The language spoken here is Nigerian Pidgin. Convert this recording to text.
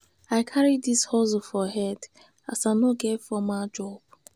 i carry dis hustling for head as i no get formal job.